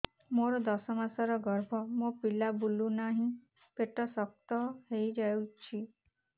ମୋର ଦଶ ମାସର ଗର୍ଭ ମୋ ପିଲା ବୁଲୁ ନାହିଁ ପେଟ ଶକ୍ତ ହେଇଯାଉଛି